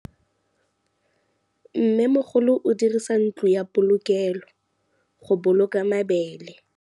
Mmêmogolô o dirisa ntlo ya polokêlô, go boloka mabele.